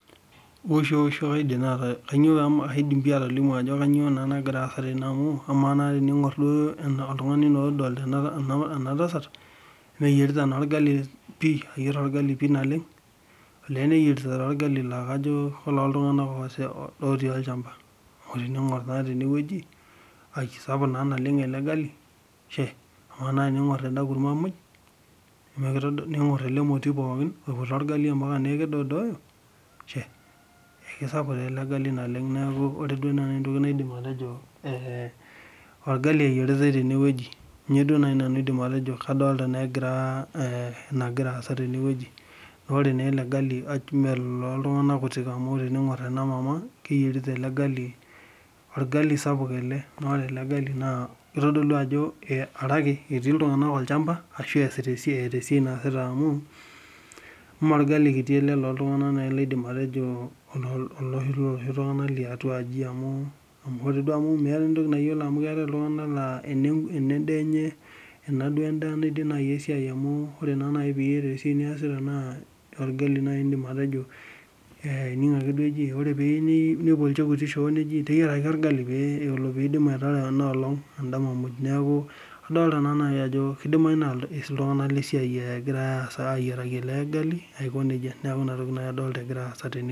Kaidim naa atolimu ajo kainyoo nagira aasa amu ,ama naa teningor oltungani naa odolita ena tasat, mee eyierita naa orgali eyierita orgali pi naleng. Ole neyierita taa orgali laa kajo koltunganak otii olchampa. Amu teningor naa teneweji sapuk naa naleng ele gali ,ama naa teningor ena kurma muj ningor ele moti pookin loputa orgali mpaka neeku kedoidooyo .Kisapuk taa ele gali naleng neeku ore entoki naaji naidim atejo, orgali naa eyieritae teneweji ,kaidim duo naaji nanu atejo kadol egira aasa teneweji. Ore naa ele gali me ololtunganak kuti amu ore teningor ena mama keyierita ele gali naa orgali sapuk ele naa kitodolu ajo arake etii iltunganak olchampa ashu eesita esiai .Mee orgali kiti ele looltunganak laidim naaji atejo oloshi looloshi tunganak liatuaji amu ore duo amu meeta enatoki nayiolo amu etii iltunganak laa ena duo endaa naaji naidim esiai amu ore naa naji pee iyata esiai niyasita na orgali naaji indim atejo ,amu ining naake eji ore pee ilo shoo nejia teyieraki orgali pee itum ataarare ena olong endama muj .Neeku keidimayu naa iltunganak lesiai egirae ayieraki ele gali Aiko nejia. Neeku inatoki naaji adolita agira aasa tene.